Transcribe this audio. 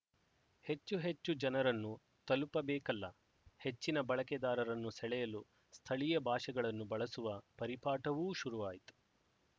ಹೆಚ್ಚುಹೆಚ್ಚು ಜನರನ್ನು ತಲುಪಬೇಕಲ್ಲ ಹೆಚ್ಚಿನ ಬಳಕೆದಾರರನ್ನು ಸೆಳೆಯಲು ಸ್ಥಳೀಯ ಭಾಷೆಗಳನ್ನು ಬಳಸುವ ಪರಿಪಾಠವೂ ಶುರುವಾಯಿತು